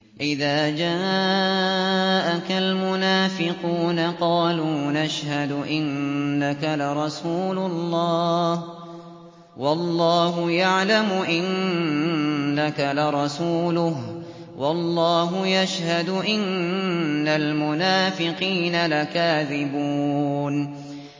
إِذَا جَاءَكَ الْمُنَافِقُونَ قَالُوا نَشْهَدُ إِنَّكَ لَرَسُولُ اللَّهِ ۗ وَاللَّهُ يَعْلَمُ إِنَّكَ لَرَسُولُهُ وَاللَّهُ يَشْهَدُ إِنَّ الْمُنَافِقِينَ لَكَاذِبُونَ